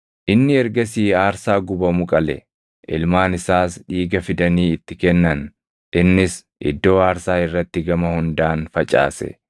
Inni ergasii aarsaa gubamu qale. Ilmaan isaas dhiiga fidanii itti kennan; innis iddoo aarsaa irratti gama hundaan facaase.